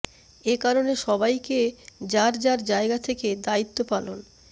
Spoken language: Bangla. এ কারণে সবাইকে যার যার জায়গা থেকে দায়িত্ব পালন